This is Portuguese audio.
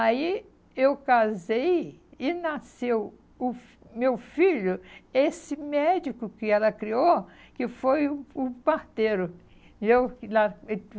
Aí eu casei e nasceu o meu filho, esse médico que ela criou, que foi o parteiro.